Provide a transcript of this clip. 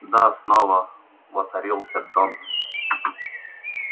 да снова воцарится джонс